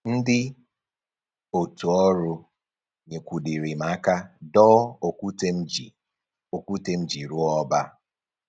Ndị otu ọrụ nyekwudịrị m aka doo okwute m ji okwute m ji rụọ ọba